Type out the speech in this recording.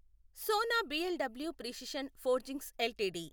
Sona BLW precision forgings LTD